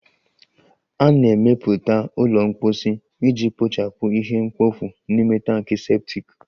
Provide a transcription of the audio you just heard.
A na-emepụta ụlọ mposi iji kpochapụ ihe mkpofu n'ime tankị septic